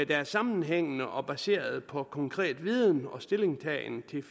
der er sammenhængende og baseret på konkret viden og stillingtagen